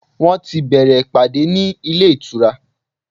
Wọ́n ti bẹ̀ẹ̀rẹ̀ ìpàdé ní ilé ìtura.